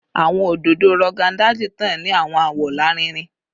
Awọn ododo Rogon Daji tan ni awọn awọ larinrin